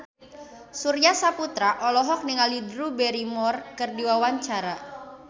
Surya Saputra olohok ningali Drew Barrymore keur diwawancara